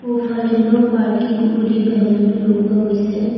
সোঁফালে no parking বুলি বেনাৰটো লগোৱা হৈছে।